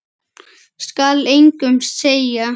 Skal engum segja.